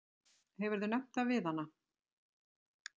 Hefurðu nefnt það við hana?